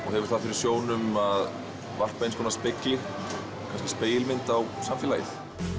og hefur það fyrir sjónum að varpa spegilmynd á samfélagið